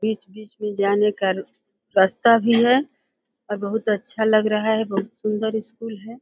बीच-बीच में जाने का रास्ता भी है और बहोत अच्छा लग रहा है। बहोत सुन्दर स्कूल है।